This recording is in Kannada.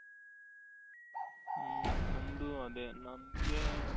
ಹ್ಮ್ ನಂದು ಅದೆ ನಂಗೆ,